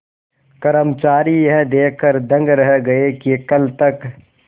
कर्मचारी यह देखकर दंग रह गए कि कल तक